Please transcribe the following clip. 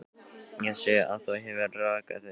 Ég sé að þú hefur rakað þig.